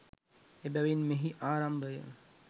එබැවින් මෙහි ආරම්භය